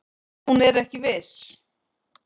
Hún er ekki viss.